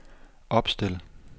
opstil